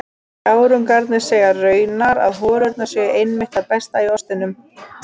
Gárungarnir segja raunar að holurnar séu einmitt það besta í ostinum.